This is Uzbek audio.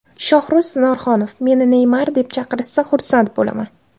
Shohruz Norxonov: Meni Neymar deb chaqirishsa, xursand bo‘laman.